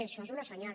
això és un senyal